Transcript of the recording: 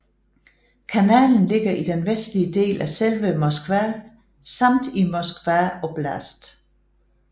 Kanalen ligger i den vestlige del af selve Moskva samt i Moskva oblast